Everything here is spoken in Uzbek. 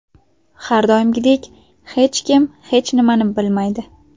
Har doimgidek hech kim hech nimani bilmaydi.